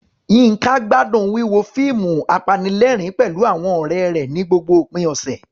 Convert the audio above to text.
Yinka gbádùn wíwo fíìmù apanilẹ́rìn-ín pẹ̀lú àwọn ọ̀rẹ́ rẹ̀ ní gbogbo òpin ọ̀sẹ̀.